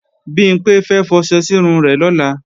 Bimpé fẹ́ fọṣẹ sírun rẹ̀ lọ́la